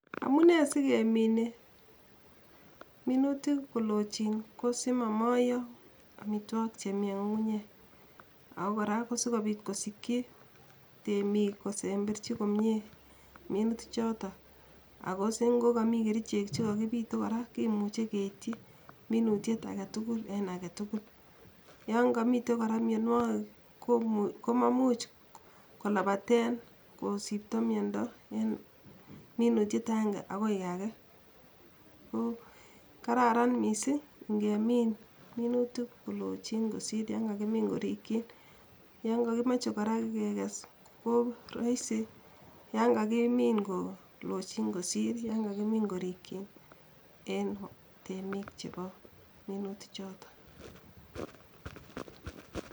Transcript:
Amunee sigemine minutik kolochin ko simomoiyo amitwogik chemi eng ngungunyek, ako kora kosikobiit kosikyi temik kosemberji komie minuti choto ako singokami kericheek chekakipite kora kemuche keityi minutiet agetugul en agetugul ,yon kamitei kora mianwogik komamuch kolabaten kosipto miondo en minutiet agenge akoi age ko Kararan mising kemin minutik kolochin kosir yakakimin korikyin, yon kakimoche kora kekes ko raisi yan kakimin kolochin kosir yan kakimin korikyin en temik chebo minuti choto.